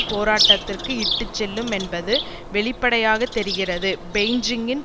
போராட்டத்திற்கு இட்டு செல்லும் என்பது வெளிப்படையாக தெரிகிறது பெய்ன்ஜிங்கின்